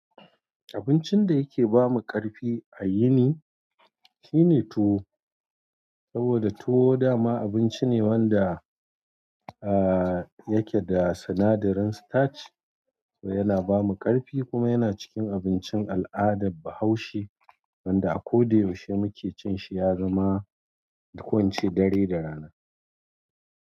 Abincin da yake ba mu ƙarfi a yini shine tuwo, saboda tuwo dama abinci ne wanda a yake da sinadarin starch, kuma yana ba mu ƙarfi. Kuma yana cikin abincin al'adar Bahaushe wanda a ko da yaushe muke cin shi, ya zama to ko ince dare da rana.